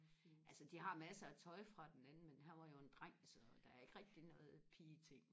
altså de har massere af tøj fra den anden men han var jo en dreng så der er ikke rigtig noget pigeting